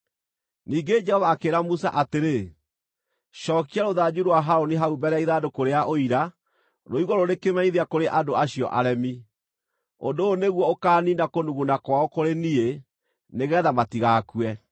Ningĩ Jehova akĩĩra Musa atĩrĩ, “Cookia rũthanju rwa Harũni hau mbere ya Ithandũkũ rĩa Ũira, rũigwo rũrĩ kĩmenyithia kũrĩ andũ acio aremi. Ũndũ ũyũ nĩguo ũkaaniina kũnuguna kwao kũrĩ niĩ, nĩgeetha matigakue.”